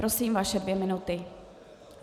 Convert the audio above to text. Prosím, vaše dvě minuty.